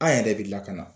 An yɛrɛ de lakana